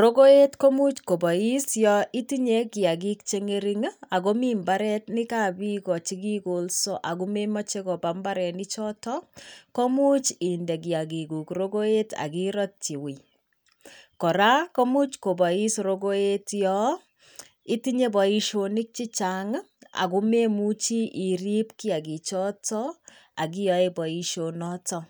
Rogoet komuch kobois ya itinye kiagik che ng'ering ako mi mbareniab bik o che kigoolsa ako memoche kopa mbareni choto komuch inde kiagikuk rogoet akiratyi wuui. Kora komuch kobois rogoet yaitinye boishonik chechang ako memuchi iripkiagik choto akiyaeboishonoto.